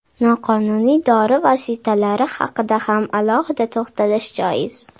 Noqonuniy dori vositalari haqida ham alohida to‘xtalish joiz.